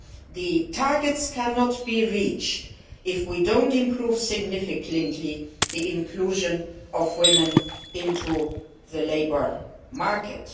The targets cannot be reached if we do not significantly improve the inclusion of women in the labour market.